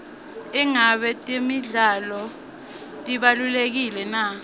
ingabe temidlalo tibalulekile na